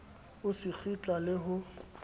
o se kgitla le ho